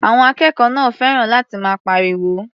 Àwọn akẹ́kọ̀ọ́ náà fẹ́ràn láti máa pariwo.